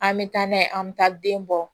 An bɛ taa n'a ye an bɛ taa den bɔ